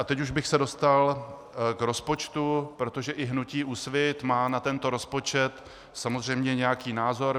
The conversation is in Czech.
A teď už bych se dostal k rozpočtu, protože i hnutí Úsvit má na tento rozpočet samozřejmě nějaký názor.